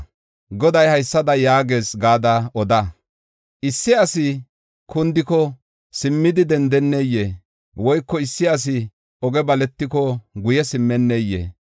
Goday haysada yaagees gada oda: “Issi asi kundiko, simmidi dendeneyee? Woyko issi asi oge baletiko guye simmenneyee?